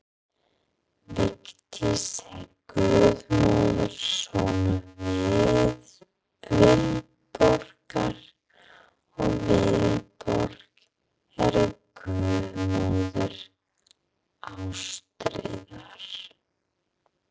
Vigdís er guðmóðir sonar Vilborgar, og Vilborg er guðmóðir Ástríðar.